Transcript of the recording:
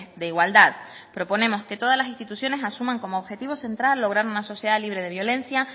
de igualdad proponemos que todas las instituciones asuman como objetivo central lograr una sociedad libre de violencia